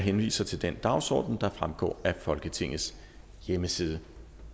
henviser til den dagsorden der fremgår af folketingets hjemmeside